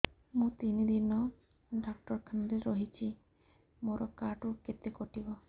ମୁଁ ତିନି ଦିନ ଡାକ୍ତର ଖାନାରେ ରହିଛି ମୋର କାର୍ଡ ରୁ କେତେ କଟିବ